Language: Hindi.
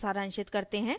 इसको सारांशित करते हैं